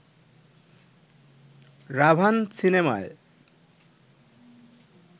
'রাভান' সিনেমায়